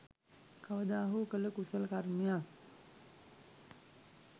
කවදා හෝ කළ කුසල කර්මයක්